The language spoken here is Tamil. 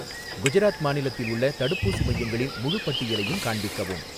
குஜராத் மாநிலத்தில் உள்ள தடுப்பூசி மையங்களின் முழுப் பட்டியலையும் காண்பிக்கவும்